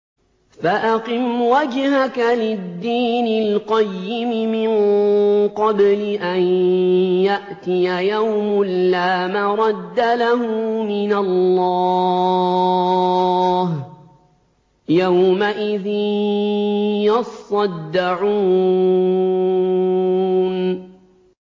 فَأَقِمْ وَجْهَكَ لِلدِّينِ الْقَيِّمِ مِن قَبْلِ أَن يَأْتِيَ يَوْمٌ لَّا مَرَدَّ لَهُ مِنَ اللَّهِ ۖ يَوْمَئِذٍ يَصَّدَّعُونَ